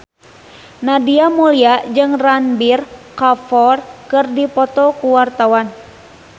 Nadia Mulya jeung Ranbir Kapoor keur dipoto ku wartawan